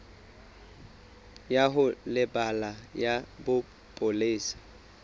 ya ho lebela ya bopolesa